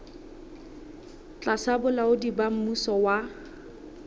tlasa bolaodi ba mmuso wa